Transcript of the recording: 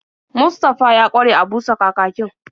Mustafa ya ƙware a busa kakakin.